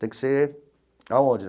Tem que ser... Aonde?